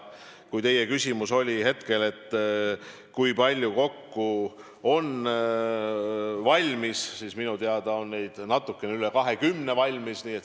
Kui teie küsimus oli hetkel, kui palju kokku on valmis, siis minu teada on neid valmis natukene üle 20.